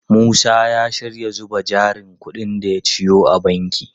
Musa ya shirya zuba jarin kudin da ya ciyo a banki.